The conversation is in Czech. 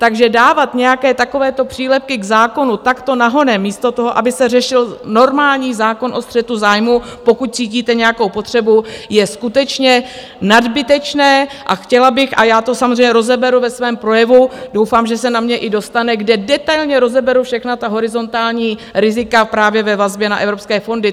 Takže dávat nějaké takovéto přílepky k zákonu takto nahonem místo toho, aby se řešil normální zákon o střetu zájmů, pokud cítíte nějakou potřebu, je skutečně nadbytečné a chtěla bych - a já to samozřejmě rozeberu ve svém projevu, doufám, že se na mě i dostane, kde detailně rozeberu všechna ta horizontální rizika právě ve vazbě na evropské fondy.